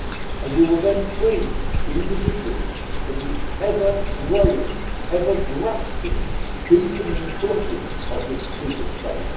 And we will then free the individual from the ever growing, ever grasping deepening clutches of this superstate.